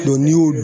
n'i y'o